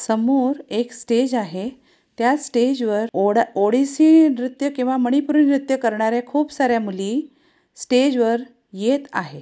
समोर एक स्टेज आहे. त्या स्टेज वर ओड़ा ओडीसे नृत्य किंवा मणिपुरी नृत्य करणाऱ्या खूप सार्‍या मुली स्टेज वर येत आहे.